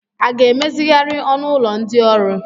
A ga-emezigharị ọnụ ụlọ ndị ọrụ?